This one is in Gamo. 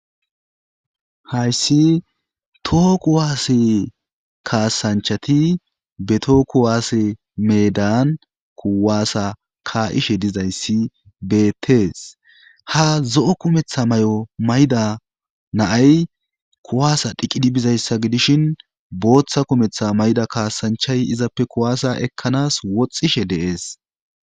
hayssi too kuwaasse kaasanchati beto kuwaasse meedan kuwaasa ka7ishe dizayssi beettees ha zo7o kumetha may7o mayda naay kuwaasa dhiqidi bizayssa gidishin booththa kumetha mayda kaasanchay izappe kuwaasa ekkanas woxxishe deees